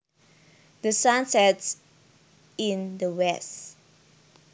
The sun sets in the west